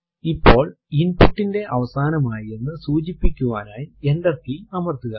ഇപ്പോൾ input ന്റെ അവസാനം ആയി എന്ന് സൂചിപ്പിക്കുവാനായി എന്റർ കീ അമർത്തുക